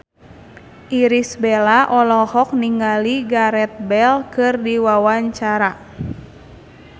Irish Bella olohok ningali Gareth Bale keur diwawancara